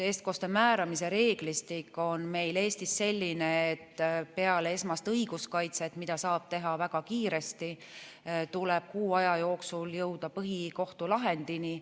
Eestkoste määramise reeglistik on meil Eestis selline, et peale esmast õiguskaitset, mida saab teha väga kiiresti, tuleb kuu aja jooksul jõuda põhikohtulahendini.